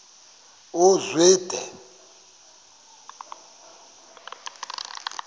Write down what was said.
uzwide